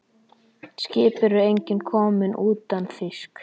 Skip eru engin komin utan þýsk.